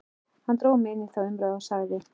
Hann dró mig inn í þá umræðu og sagði